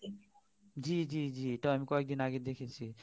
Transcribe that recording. জ্বী জ্বী জ্বী এটা আমি কয়েকদিন আগে দেখেছি